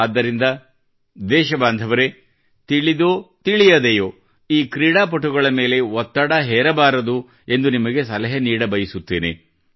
ಆದ್ದರಿಂದ ದೇಶಬಾಂಧವರೆ ತಿಳಿದೊ ತಿಳಿಯದೆಯೋ ಈ ಕ್ರೀಡಾಪಟುಗಳ ಮೇಲೆ ಒತ್ತಡ ಹೇರಬಾರದು ಎಂದು ನಿಮಗೆ ಸಲಹೆ ನೀಡಬಯಸುತ್ತೇನೆ